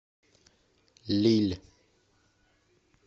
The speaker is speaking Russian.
лилль